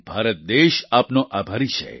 ભારત દેશ આપનો આભારી છે